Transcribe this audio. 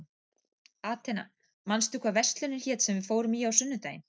Atena, manstu hvað verslunin hét sem við fórum í á sunnudaginn?